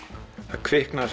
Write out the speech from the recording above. það kviknaði